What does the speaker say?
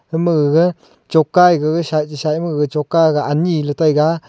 ama gaga choka gaga sah e sah ema ga choka ga anyi e taga.